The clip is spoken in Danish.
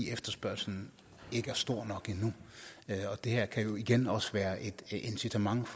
efterspørgslen ikke er stor nok endnu det her kan jo igen også være et incitament